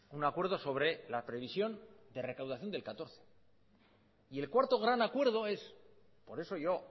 un acuerdo sobre la previsión de recaudación del catorce y el cuarto gran acuerdo es por eso yo